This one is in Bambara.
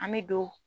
An bɛ don